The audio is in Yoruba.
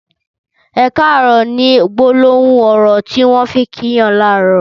''Ẹ kàárọ̀'' ni gbólóhùn ọrọ tiwọn fi n kí yàn làárọ̀